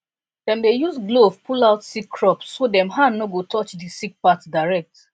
dem dey use glove pull out sick crop so dem hand no go touch the sick part direct